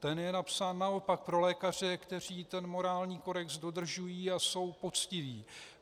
Ten je napsán naopak pro lékaře, kteří ten morální kodex dodržují a jsou poctiví.